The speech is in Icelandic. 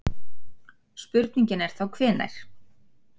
Spurningin er þá, hvenær?